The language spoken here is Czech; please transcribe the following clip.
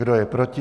Kdo je proti?